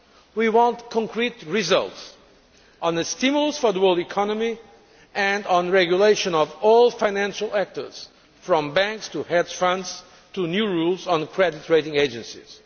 We want concrete results on a stimulus for the world economy and on the regulation of all financial actors, from banks to hedge funds, to new rules on credit rating agencies.